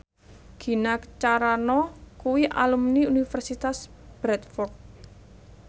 Gina Carano kuwi alumni Universitas Bradford